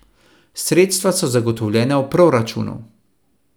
Sredstva so zagotovljena v proračunu.